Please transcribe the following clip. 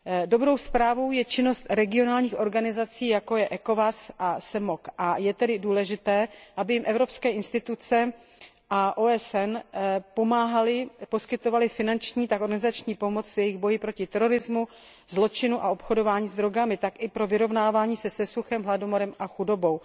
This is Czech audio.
Dobrou zprávou je činnost regionálních organizací, jako jsou ECOWAS a CEMOC, a je tedy důležité, aby jim evropské instituce a OSN pomáhaly a poskytovaly finanční a organizační pomoc jak v jejich boji proti terorismu, zločinu a obchodování s drogami, tak i pro vyrovnávání se se suchem, hladomorem a chudobou.